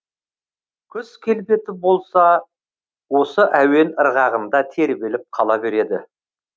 күз келбеті болса осы әуен ырғағында тербеліп қала береді